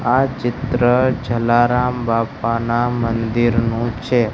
આ ચિત્ર જલારામ બાપાના મંદિરનું છે.